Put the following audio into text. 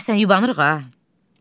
Deyəsən yubanırıq ha.